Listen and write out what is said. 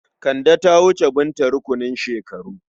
Kande ta wuce Binta a rukunin shekaru.